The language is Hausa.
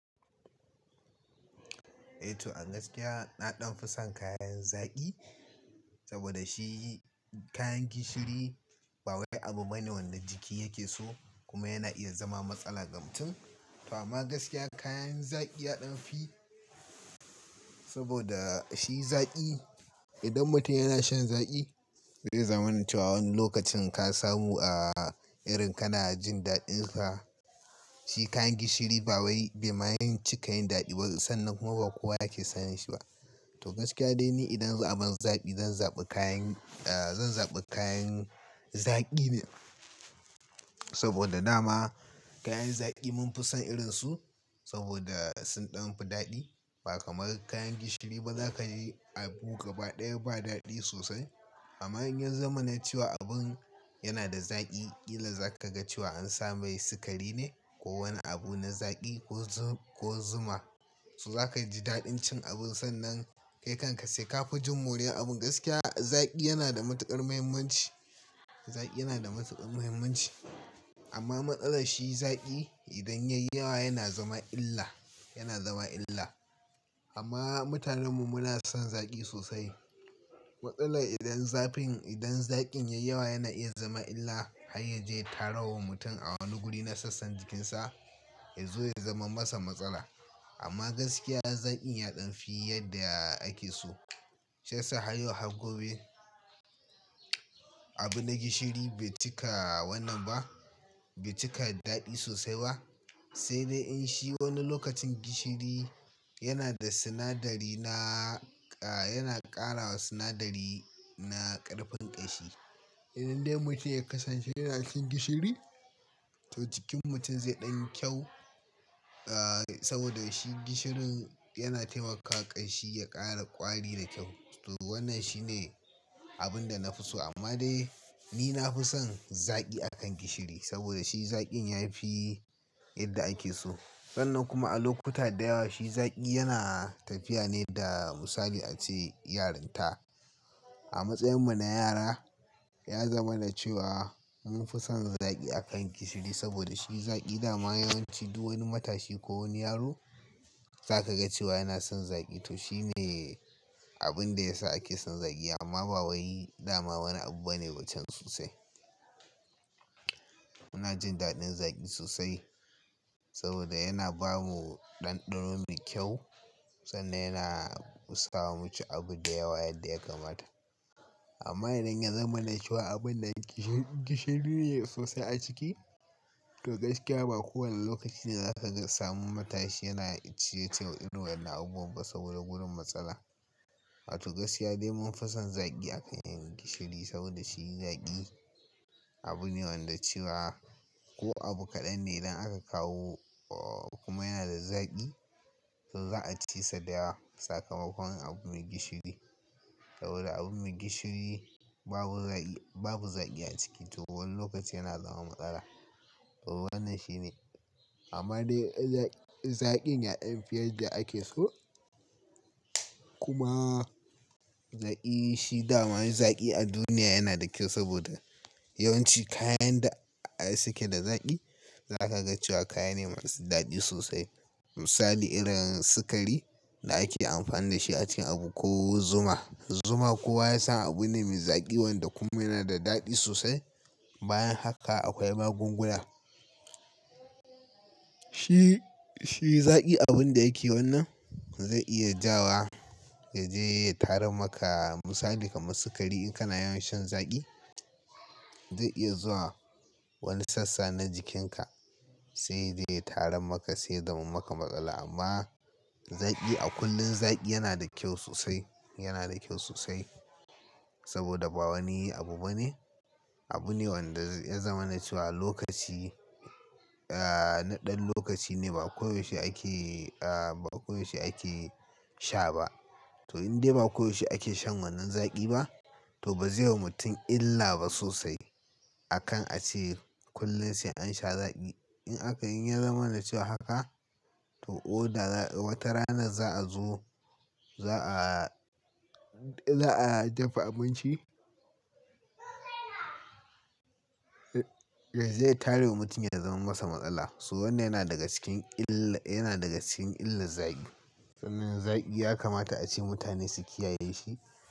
Eh to a gaskiya na ɗan fi son kayan zaƙi saboda shi kayan gishiri ba wani abu bane wanda jiki yake so kuma yana iya zama matsala ga mutum. To amma gaskiya kayan zaƙi ya ɗan fi saboda shi zaƙi idan mutum yana shan zaƙi zai zamana cewa wani lokacin ka samu a irin kana jin daɗinsa. Shi kayan gishiri ba wai bai ma yi cikayin daɗi ba sannan kuma ba kowa yake son shi ba. To gaskiya dai ni idan abin zaƙi zan zaɓi kayan, zan zaɓi kayan zaƙi ne saboda dama kayan zaƙi mun fi son irin su saboda sun ɗan fi daɗi ba kamar kayan gishiri ba za ka yi abu gaba ɗaya ba daɗi sosai. Amma in ya zamana cewa abin yana da zaƙi kila za ka ga cewa an sa mai sikari ne ko wani abu na zaƙi ko zu-ko zuma. To za ka ji daɗin cin abin sannan kai kanka sai ka fi jin moriya abin. Gaskiya zaƙi yana da matuƙar muhimmanci, zaƙi yana da matuƙar muhimmanci amma matsalar shi zaƙi idan ya yi yawa yana zama illa, yana zama illa. Amma mutanen mu muna son zaƙi sosai. Matsalar idan zafin-- idan zaƙin ya yi yawa yana iya zama illa har ya je ya tarawa mutum a wani guri na sassan jikinsa ya zo ya zama masa matsala. Amma gaskiya zaƙi ya ɗan fi yadda ake so. Shiyasa har yau har gobe abu na gishiri bai cika wannan ba, bai cika daɗi sosai ba. Sai dai in shi wani lokacin gishiri yana da sinadari na-- yana ƙara wa sinadari na ƙarfin ƙashi. Indai mutum ya kasance yana cin gishiri to jikin mutum zai ɗan kyau saboda shi gishirin yana taimaka ƙashi ya ƙara ƙwari da kyau. To wannan shine abun da na fi so amma dai ni na fi son zaƙi a kan gishiri saboda shi zaƙin ya fi yadda ake so. Sannan kuma a lokuta da yawa shi zaƙi yana tafiya ne da misali a ce yarinta. A matsayinmu na yara ya zamana cewa mun fi son zaƙi a kan gishiri saboda shi zaƙi dama yawanci duk wani matashi ko wani yaro za ka ga cewa yana son zaƙi. To shi ne abin da ya sa ake son zaƙi amma ba wai dama wani abu bane ba can sosai. Muna jin daɗin zaƙi sosai saboda yana ba mu ɗanɗano mai kyau sannan yana sa muci abu da yawa yadda ya kamata. Amma idan ya zamana cewa abin nan gishi-gishiri ne sosai a ciki to gaskiya ba kowane lokaci ne za ka ga-- samu matashi yana ciyec irin wannan abu ba saboda gudu matsala. To gaskiya dai mun fi son zaƙi a kan gishiri saboda shi zaƙi abu ne wanda cewa ko abu kaɗan ne idan aka kawo kuma yana da zaƙi to za a ci sa da yawa. Sakamakon abu mai gishiri saboda abu mai gishiri babu zaƙi, babu zaƙi a ciki to wani lokaci yana zama matsala. Wannan shi ne amma dai zaƙin ya ɗan fi yadda ake so kuma zaƙi shi dama zaƙi a duniya yana da kyau saboda yawanci kayan da suke da zaƙi za ka ga cewa kayane masu daɗi sosai. Misali irin sikari da ake amfani da shi a cin abu ko zuma. Zuma kowa ya san abu ne mai zaƙi wanda kuma yanada daɗi sosai. Bayan haka akwai magunguna. Shi, shi zaƙi abun da yake wannan zai iya ja wa ya je ya tarar maka misali kamar sikari in kana yawan shan zaƙi zai iya zuwa wani sassa na jikinka sai zai tarar maka sai ya zama maka matsala. Amma zaƙi a kullum zaƙi yana da kyau sosai, yana da kyau sosai saboda ba wani abu bane. Abu ne wanda ya zamanace wa lokaci, na ɗan lokaci ne ba koyaushe ake, ba koyaushe ake sha ba. To indai ba koyaushe ake shan wannan zaƙi ba to ba zai wa mutum illa ba sosai akan a ce kullum sai an sha zaƙi. In aka, in ya zamanace wa haka to oda wata rana za a zo za a, za a dafa abinci da zai tayar wa mutum ya zama masa matsala. So wannan yana daga cikin illa, yana daga cikin illar zaƙi. Sannan zaƙi ya kamata a ce mutane su kiyaye shi.